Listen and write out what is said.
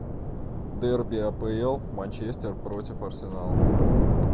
дерби апл манчестер против арсенал